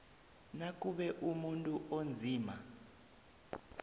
nakube umuntu onzima